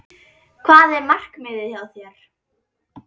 Hvað er markmiðið hjá þér?